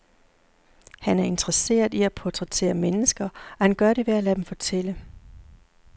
Han er interesseret i at portrættere mennesker, og han gør det ved at lade dem fortælle.